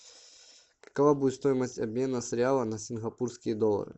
какова будет стоимость обмена с реала на сингапурские доллары